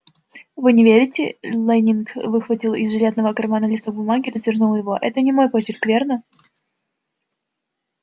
вы не верите лэннинг выхватил из жилетного кармана листок бумаги и развернул его это не мой почерк верно